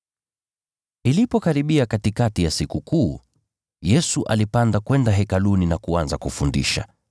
Ilipokaribia katikati ya Sikukuu, Yesu alipanda kwenda Hekaluni na kuanza kufundisha.